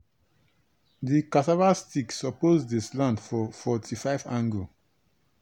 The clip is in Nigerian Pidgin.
di cassava sticks suppose dey slant for forty five angu.